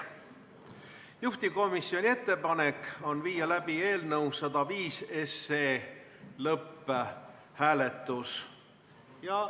Juhtivkomisjoni ettepanek on viia läbi eelnõu 105 lõpphääletus.